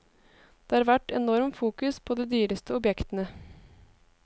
Det har vært enorm fokus på de dyreste objektene.